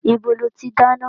Ibo lo ti dáná?